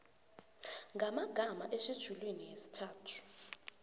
ngamagama etjhejulini yesithathu